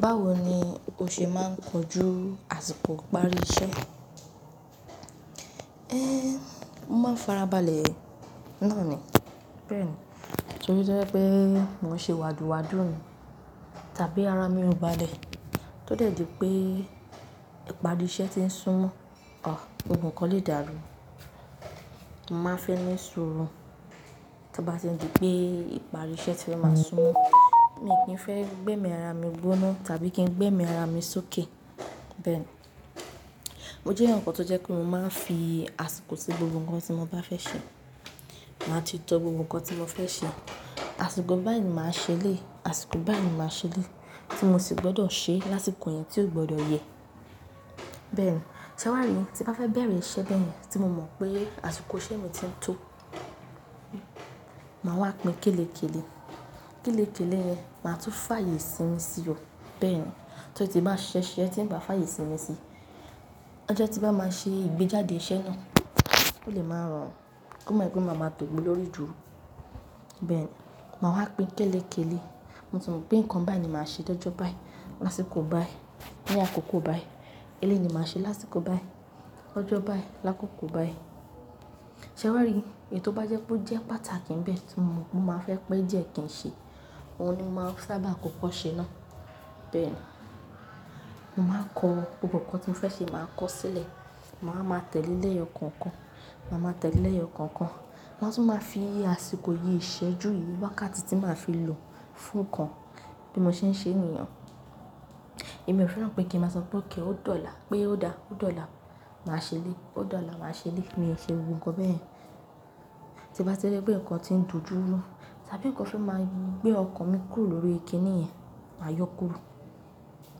Báwo ni o ṣe máa ń kojú àsìkò ìparí iṣẹ́? Én mo máa ń farabalẹ̀ náà ni. Bẹ́ẹ̀ ni, torí tí ó jẹ́ pé mo ṣe wádùwádù ni tàbí ara mi ò balẹ̀. Ó di pé ìparí iṣẹ́ ti ń súnmọ́ a gbogbo kan lè dàrú. Mo má fẹ́ ní sùúrù. Tó bá tiń di pé ìparí iṣẹ́ ti fẹ́ máa súnmọ́, mi kin fẹ́ gbémi ara mi gbóná tàbí kín gbémi ara mi sókè. Bẹ́ẹ̀ ni, mo jẹ́ eyan kan tó jẹ́ pé mo máa ń fi àsìkò sí gbogbo ǹkan tí mo bá fẹ́ ṣe. Màá ti tọ gbogbo ǹkan tí mo fẹ́ ṣe. Àsìkò báyìí ni màá ṣe léyìí, àsìkò báyìí ni màá ṣe léyìí tí mo sì gbọ́dọ̀ ṣe lásìkò yẹn tí ò gbọ́dọ̀ yẹ. Bẹ́ẹ̀ ni, ṣé wàá rí tí bá fẹ́ bẹ̀rẹ̀ iṣẹ́ be yẹn tí mo mọ̀ pé àsìkò iṣẹ́ mi ti ń tó, màá wá pín kélékélé. Kélékélé yẹn, máa tún fààyè isími sí o. Bẹ́ẹ̀ ni, tó ti bá ṣiṣẹ́, ṣiṣẹ́, tí ń bá fààyè isími sí, ọjọ́ tí n bá máa ṣe ìgbéjáde iṣẹ́ náà ò lè máa rọrùn. Kan mo pé máa máa tògbe lórí dúró. Bẹ́ẹ̀ ni, màá wá pín kélékélé. Mo tì mọ̀ pé ǹkan báyìí ni màá ṣe dọ́jọ́ báyìí, lásìkò báyìí, ní àkókò báyìí. Élẹ́yii ni màá ṣe lásìkò báyìí, lọ́jọ́ báyìí, lákókò báyìí. Ṣé wàá rí èyí tò bá jẹ́ pé ó jẹ́ pàtàkì ń bẹ tí mo mọ̀ pé mo o máa fẹ́ pé díẹ̀ kín ṣe, òun ni máa sábà kọ́kọ́ ṣe náà. Bẹ́ẹ̀ ni, mo máa kọ gbogbo ǹkan tí mo fẹ́ ṣe, màá kọ ó sílẹ̀. Màá máa tẹ̀lẹ́ lẹyọ kànkan, màá máa tẹ̀lẹ́ lẹyọ kànkan. Màá tún máa fi àsìkò yìí, ìṣẹ́jú yìí wákàtí tí màá fi lò fún ǹkan, bí mo ṣe ń ṣe ni yẹn o. Èmi ò fẹ́ràn pé kí n máa sọ pé okay, o dòla, pé ó dá, ó dòla, màá ṣe eléyìí, ó dòla, màá ṣe eléyìí. Mi ò ṣe gbogbo ǹkan be yẹn tí bá ti rí pé ǹkan ti ń dojúrú tàbí ǹkan fẹ́ máa ń gbé ọkàn mi kúrò lórí ìkínni yẹn, màa yọkúrò.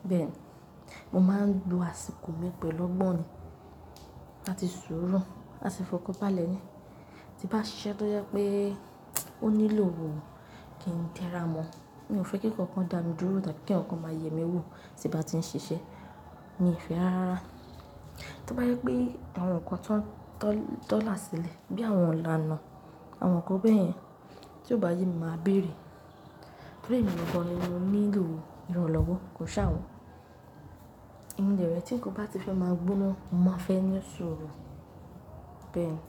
Bẹ́ẹ̀ ni, mo máa ń lo àsìkò mi pẹ̀lú ọgbọ́n ni àti sùúrù. A sì fọkàn ba le ni tí bá ṣiṣẹ́ tó jẹ́ pé ó nílò kín tẹ́ra mọ. Mi ò fẹ́ kí ǹkan kan dà mí dúró tàbí kí eyan kan ma yẹ mí wò tí bá ti ń ṣiṣẹ́. Mi ò fẹ́ rárá. Tó bá yẹ pé àwọn ǹkan tán, tàn, tàn láṣẹlẹ̀ bí àwọn ìlànà, àwọn ǹkan bẹ́ẹ̀ yẹn tí ò bá yẹ mi máa béèrè. Torí èmi gan gan ní mo nílò ìrànlọ́wọ́, kò ṣe àwọn èmi dẹ̀ rẹ̀ tí ǹkan bá ti fẹ́ máa gbóná, mo máa fẹ́ ní sùúrù. Bẹ́ẹ̀ ni,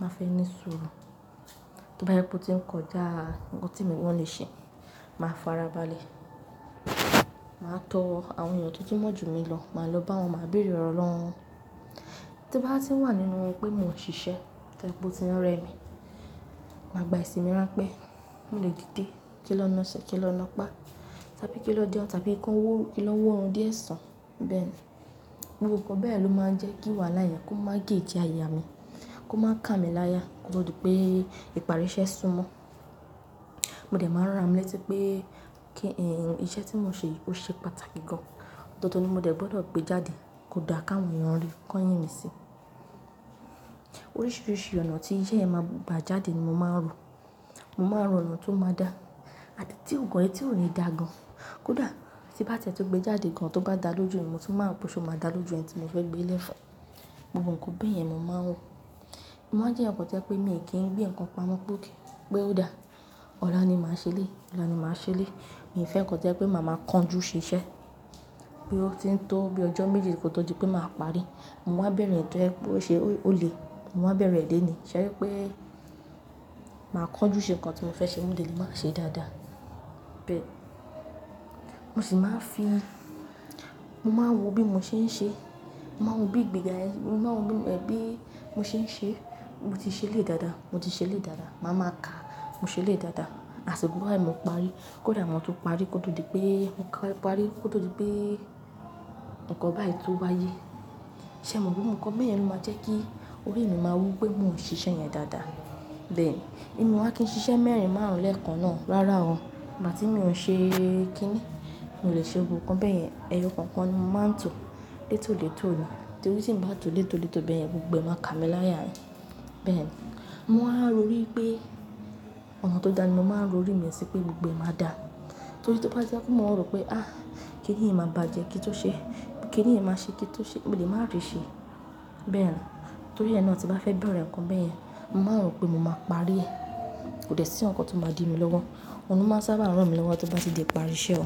màá fẹ́ ní sùúrù. Tó bá yẹ pé ó ti ń kọjá ǹkan tí èmi gan lè ṣe, ma farabalẹ̀. Màá tọ àwọn èèyàn tó tún mọ̀ ju mi lọ, máa lọ bá wọn, màá béèrè ọ̀rọ̀ lọ́wọ́ wọn. Tó bá ti wà nínú pé mo ṣiṣẹ́ tó jẹ́ pé ó ti rẹ mí, màá gba ìsinmi ránpẹ́. Mò lè dìde. Kín lọ́ ńaṣe, kín lọ́ ńapa, tàbí kí ló jẹun, tàbí ko- kín ló wọ́ orun díẹ̀ sùn. Bẹ́ẹ̀ ni, gbogbo ǹkan be yẹn ló máa ń jẹ́ kí wàhálà yẹn kó má gèéjì àyè mi, kó má kà mí láya, kó tó di pé ìparí iṣẹ́ súnmọ́. Mo dẹ̀ máa ran ra mi lẹ́tí pé, kin- iṣẹ́ tí mo ṣe yìí ó ṣe pàtàkì gan. Dan dan ni mo dẹ̀ gbọ́dọ̀ gbé jáde kó dà, káwọn èèyàn rí, kan yìn mí sí oríṣiríṣi ọ̀nà tí iṣẹ́ yẹn máa gbà jáde ni mo máa ń rò. Mo máa ń rò ọ̀nà tó máa dà àti tí ò gan, tí ò ni dà gan. Kódà tí bá tie tún gbé jáde gan tó bá dà lójú mi, mo tún máa wo pé ṣé ó máa dà lójú ẹni tí mo fẹ́ gbé lẹ́ fún gbogbo ǹkan be yẹn ni mo máa ń rò. Mo máa ń jẹ́ eyan kan tó jẹ́ pé mi ò kíń gbé ǹkan pamọ́ pé okay, ó dà. Ọ̀la ni màá ṣe eléyìí, ọ̀la ni màá ṣe eléyìí. Mi ò fẹ́ ǹkan tó jẹ́ pé màá máa kan jú ṣiṣẹ́ bóyá o ti ń tó bí ọjọ́ méjì kò tó di pé màá parí. Mo wá bẹ̀rẹ̀ eyii tó jẹ́ pé ó ṣe, ó lè, mo wá bẹ̀rẹ̀ lé ní. Ṣé rí pé màá kan jú ṣe ǹkan tí mo fẹ́ ṣe mó dè le màá ṣe dáadáa. Bẹ́ẹ̀ ni, mo sì máa ń fi, mo máa ń wò bí mo ṣe ń ṣe. Mo máa ń wò bí ìgbéga yẹn, mo máa ń wò bí, ẹ́, bí mo ṣe ń ṣe. Mo ti ṣe lé dáadáa, mo ti ṣe lé dáadáa. Màá máa kà, mo ṣe lé dáadáa. Àsìkò báyìí mo parí. Kódà mo tún parí kó tó di pé, mo parí, kó tó di pé ǹkan báyìí tó wáyé. Ṣé mo gbogbo ǹkan beyẹn ló máa jẹ́ kí orí mi máa wú pé mo ń ṣe iṣẹ́ yẹn dáadáa? Bẹ́ẹ̀ ni, èmi o wa kìnn ṣiṣẹ́ mẹ́rin, márùn, lè kan ná, rárá o, ìgbà tín mi ò ń ṣe kí ni, mi ò lè ṣe gbogbo ǹkan beyẹn. Ẹyọ kànkan ni mo máa ń tọ létòlétò ni. Torí tí ń bá tó létòlétò beyẹn gbogbo ẹ máa kà mí láya ni. Bẹ́ẹ̀ ni, mo máa ń rò wí pé ọ̀nà tó dá ni mo máa ń rò orí mi sí pé gbogbo ẹ máa dà. Torí tó bá jẹ́ pé mo rò pé, à, kí nìyí máa bàjẹ́ kín tó ṣe. Kí nìyí máa ṣe kín tó ṣe, mò lè máa ríṣe. Bẹ́ẹ̀ ni, torí ẹ na tin bá fẹ́ bẹ̀rẹ̀ ǹkan beyẹn, mo máa ń rò pé mo máa parí. Kò dẹ̀ sí ǹkankan tó máa di mí lọ́wọ́. Òun ló máa sábà rán mi lọ́wọ́ tó bá ti di ìparí iṣẹ́ o.